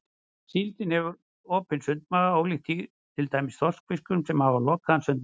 Síldin hefur opinn sundmaga ólíkt til dæmis þorskfiskum sem hafa lokaðan sundmaga.